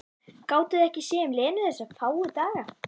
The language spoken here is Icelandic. Gátuði ekki séð um Lenu þessa fáu daga?